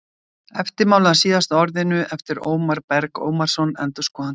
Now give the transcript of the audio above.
Eftirmáli að Síðasta orðinu eftir Ómar Berg Ómarsson endurskoðanda